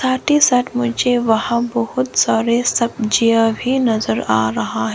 Aunty साथ मुझे वहां बहुत सारे सब्जियां भी नजर आ रहा है।